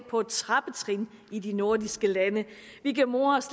på et trappetrin i de nordiske lande vi kan more os